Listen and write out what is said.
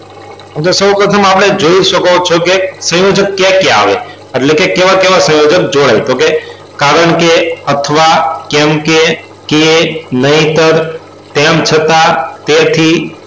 સૌપ્રથમ આપણે જોય શકો છો કે સંયોજક કયા કયા આવે એટલે કે કેવા કેવા સંયોજક જોડાય તો કે કારણ કે અથવા કેમ કે કે નહીંતર તેમ છતાં તેથી